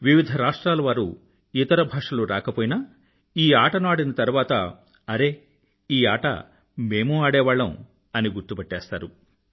వివిధ రాష్ట్రాల వారు ఇతర భాషలు రాకపోయినా ఈ ఆటను ఆడిన తరువాత అరే ఈ ఆట మేమూ ఆడేవాళ్లం అని గుర్తుపట్టేస్తారు